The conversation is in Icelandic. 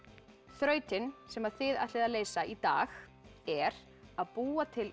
þrautin sem þið ætlið að leysa í dag er að búa til